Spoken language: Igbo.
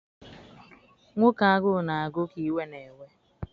Nwoke agụ na agụ ka iwe na ewe.